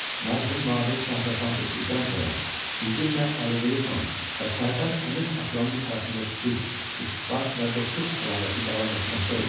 Mərhum Nadir Şah vəfat etdikdən sonra bizimlə Əliqulu xan və Sərdar Əmir Aslanın arasında sülh, ittifaq və dostluq əlaqəsi davam etməkdə idi.